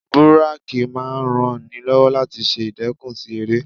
Búrákì máa ń ran ni lọ́wọ́ láti ṣe ìdẹkùn sí eré.